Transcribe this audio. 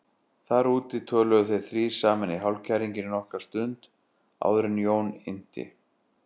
Þar úti töluðu þeir þrír saman í hálfkæringi nokkra stund áður en Jón innti